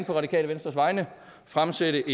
det radikale venstres vegne fremsætte